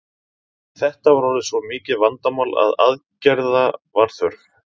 Þetta var orðið svo mikið vandamál að aðgerða var þörf.